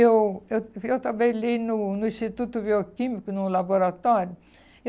Eu eu eu trabalhei no no Instituto Bioquímico, no laboratório.